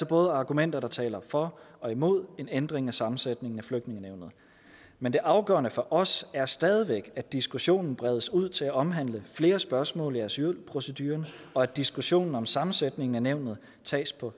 både argumenter der taler for og imod en ændring af sammensætningen af flygtningenævnet men det afgørende for os er stadig væk at diskussionen bredes ud til at omhandle flere spørgsmål i asylproceduren og at diskussionen om sammensætningen af nævnet tages på